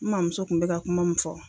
N maa muso kun min fɔ